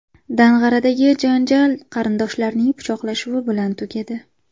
Dang‘aradagi janjal qarindoshlarning pichoqlashuvi bilan tugadi.